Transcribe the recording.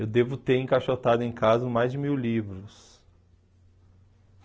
Eu devo ter encaixotado em casa mais de mil livros.